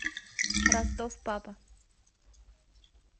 ростов папа